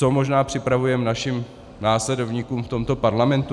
Co možná připravujeme našim následovníkům v tomto parlamentu?